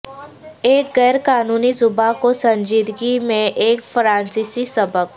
ایک غیر قانونی زبان کو سنجیدگی میں ایک فرانسیسی سبق